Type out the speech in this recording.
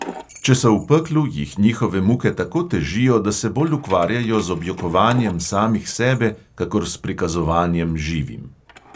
Če so v peklu, jih njihove muke tako težijo, da se bolj ukvarjajo z objokovanjem samih sebe kakor s prikazovanjem živim.